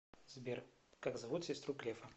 сбер как зовут сестру грефа